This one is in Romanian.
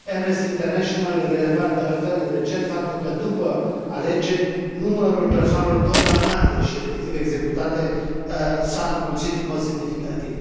Amnesty International releva, de altfel, recent faptul că, după alegeri, numărul persoanelor condamnate și respectiv executate s a înmulțit în mod semnificativ.